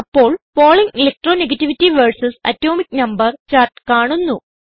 അപ്പോൾ Pauling electro negativity versus atomic number chart കാണുന്നു